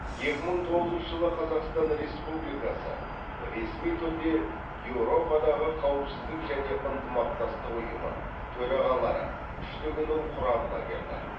екі мың тоғызыншы жылы қазақстан республикасы ресми түрде еуропадағы қауіпсіздік және ынтымақтастық ұйымы төрағалары үштігінің құрамына кірді